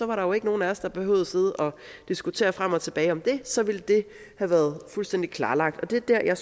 var der jo ikke nogen af os der behøvede at sidde og diskutere frem og tilbage om det så ville det have været fuldstændig klarlagt det er